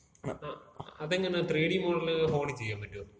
ങ്ങാ. അതെങ്ങനെ three D modelling ഫോണില് ചെയ്യാമ്പറ്റോ?